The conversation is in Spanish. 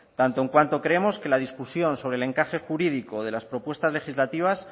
tanto en cuanto creemos que la discusión sobre el encaje jurídico de las propuestas legislativas